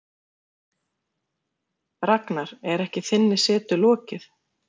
Ragnar, er ekki þinni setu lokið?